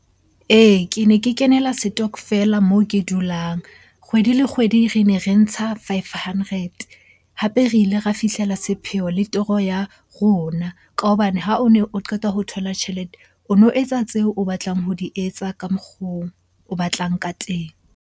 Ee, ke ne ke kenela stokvel-a moo ke dulang. Kgwedi le kgwedi re ne re ntsha five hundred, hape re ile ra fihlela sepheo le toro ya rona. Ka hobane ha o ne o qeta ho thola tjhelete, o no etsa tseo o batlang ho di etsa ka mokgo o batlang ka teng.